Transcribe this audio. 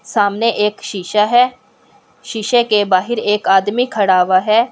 सामने एक शीशा है शीशे के बाहर एक आदमी खड़ा हुआ है।